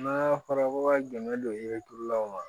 N'a fɔra ko ka dɛmɛ don i bɛ turulaw ma